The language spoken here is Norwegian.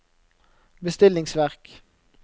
bestillingsverk